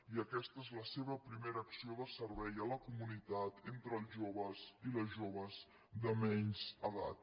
i aquesta és la seva primera acció de servei a la comunitat entre els joves i les joves de menys edat